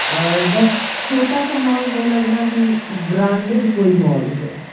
और बस छोटा सा मॉल है लग रहा कि ब्रांडेड कोई मॉल है।